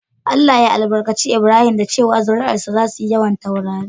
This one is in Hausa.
Allah ya albarkace lbrahim da cewa"Zuri'an sa zasu yi yawan taurari."